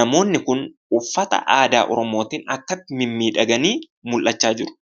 Namoonni kun uffata aadaa Oromootiin akkatti mimmiidhaganii mul'achaa jiru.